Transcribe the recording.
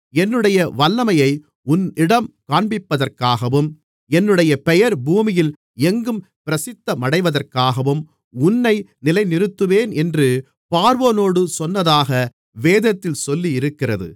மேலும் என்னுடைய வல்லமையை உன்னிடம் காண்பிப்பதற்காகவும் என்னுடைய பெயர் பூமியில் எங்கும் பிரசித்தமடைவதற்காகவும் உன்னை நிலைநிறுத்தினேன் என்று பார்வோனோடு சொன்னதாக வேதத்தில் சொல்லியிருக்கிறது